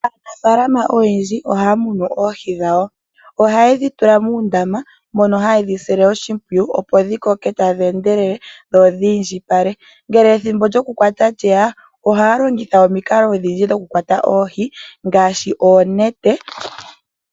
Aanafaalama oyendji ohaya munu oohi dhawo, oha ye dhi tula moondama mono ha ye dhi si le oshimpwiyu opo dhi koke tadhi endelele dho dhi indjipale, ngele ethimbo lyoku kwata lye ya ohaya longitha omikalo odhindji dhokukwata oohi ngaashi oonete.